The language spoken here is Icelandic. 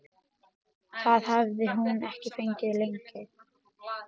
Það hafði hún ekki fengið lengi.